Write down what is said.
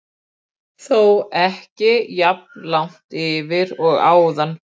Lífsferill hennar hefst í eggi sem kallað er nit.